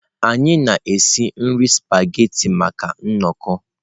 Anyị na-esi nri spaghetị maka nnọkọ.